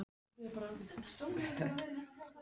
Magnús Hlynur Hreiðarsson: Hverju mun þetta breyta heldurðu?